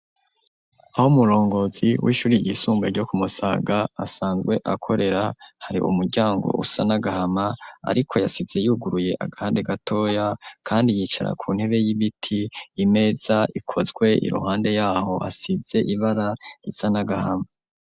Aho umurongozi w'ishuri ryisumbuye ryo ku Musaga, asanzwe akorera, hari umuryango usa n'agahama ariko yasize yuguruye agahande gatoya, kandi yicara ku ntebe y'ibiti, imeza ikozwe iruhande y'aho hasize ibara risa n'agahama.